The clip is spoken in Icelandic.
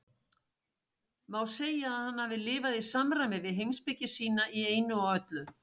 Má segja að hann hafi lifað í samræmi við heimspeki sína í einu og öllu.